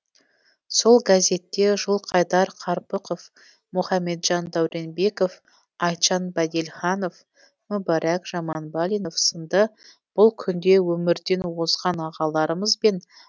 сол газетте жылқайдар қарпықов мұхамеджан дәуренбеков айтжан бәделханов мүбәрак жаманбалинов сынды бұл күнде өмірден озған ағаларымызбен